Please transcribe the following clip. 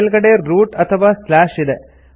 ಮೇಲ್ಗಡೆ ರೂಟ್ ಅಥವಾ ಇದೆ